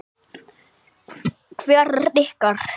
Hvert er ykkar?